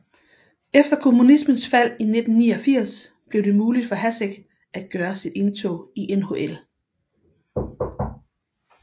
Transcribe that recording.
Efter kommunismens fald i 1989 blev det muligt for Hašek at gøre sit indtog i NHL